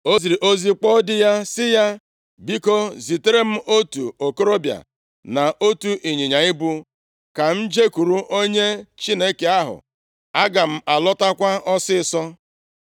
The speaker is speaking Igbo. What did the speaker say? O ziri ozi kpọọ di ya sị ya, “Biko, zitere m otu okorobịa na otu ịnyịnya ibu, ka m jekwuru onye Chineke ahụ. Aga m alọtakwa ọsịịsọ.”